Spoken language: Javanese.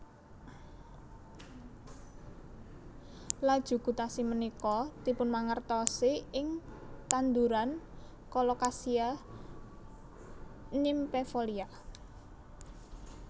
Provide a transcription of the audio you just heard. Laju gutasi ménika dipunmangertosi ing tanduran Colocasia nymphefolia